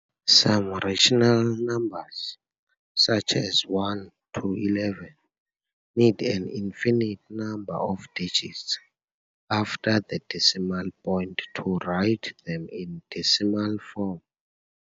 Some rational numbers, such as 1 to 11, need an infinite number of digits after the decimal point to write them in decimal form.